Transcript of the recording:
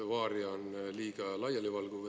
"Varia" on liiga laialivalguv.